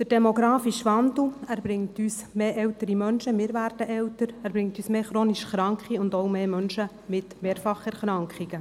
Der demografische Wandel bringt mehr ältere Menschen, mehr chronisch Kranke und auch mehr Menschen mit Mehrfacherkrankungen.